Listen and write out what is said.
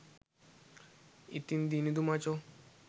ඉතිං දිනිදු මචෝ